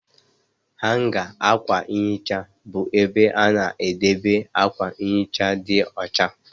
Hanga akwa nhicha bụ ebe a na-edebe akwa nhicha dị ọcha